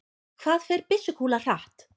hvað fer byssukúla hratt